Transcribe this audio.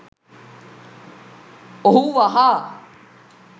ඔහු වහා